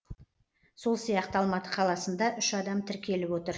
сол сияқты алматы қаласында үш адам тіркеліп отыр